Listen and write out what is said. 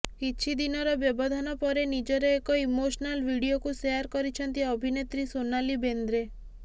କିଛି ଦିନର ବ୍ୟବଧାନ ପରେ ନିଜର ଏକ ଇମୋସନାଲ ଭିଡିଓକୁ ସେୟାର କରିଛନ୍ତି ଅଭିନେତ୍ରୀ ସୋନାଲି ବେନ୍ଦ୍ରେ